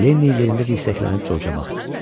Lenni yerində dirsəklənib Coça baxdı.